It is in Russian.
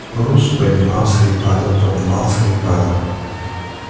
груз поднимался и падал подымался и падал